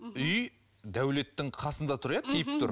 үй дәулеттің қасында тұр иә тиіп тұр